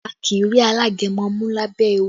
A kì í rí alágẹmọ mú lábẹ́ ewé